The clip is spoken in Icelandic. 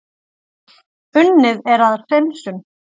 Unnið er að hreinsun